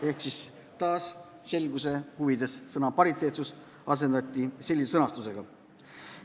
Ehk taas asendati selguse huvides sõna "pariteetsus" sellise sõnastusega.